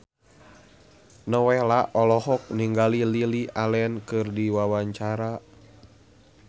Nowela olohok ningali Lily Allen keur diwawancara